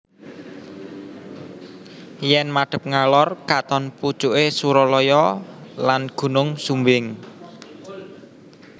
Yen madhep ngalor katon pucuke Suralaya lan Gunung Sumbing